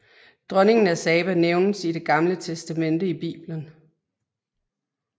Dronningen af Saba nævnes i Det Gamle Testamente i Bibelen